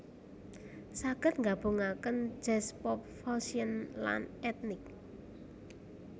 saged nggabungaken jazz pop fussion lan etnik